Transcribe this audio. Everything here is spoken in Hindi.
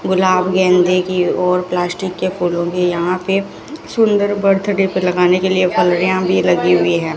गुलाब गेंदे की और प्लास्टिक के फूलों की यहां पे फुलर बर्थडे पे लगाने के लिए फुलहरियां भी लगी हुई हैं।